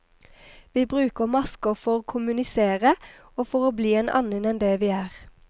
Vi bruker masker for kommunisere, og for å bli en annen enn det vi er.